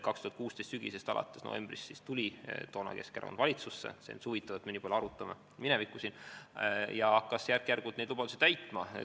2016. aasta sügisest, novembrist alates, tuli Keskerakond valitsusse – see on huvitav, et me nii palju arutame siin minevikku – ja hakkas järk-järgult neid lubadusi täitma.